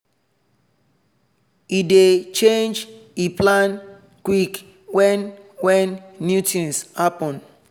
he dey change e plan quick when when new things happen